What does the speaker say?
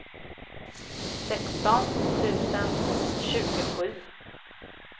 sexton tusen tjugosju